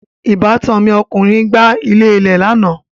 Ìbátan mi ọkùnrin gbà ilẹ̀lẹ́ẹ̀ lánà